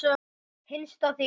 Hinsta þín.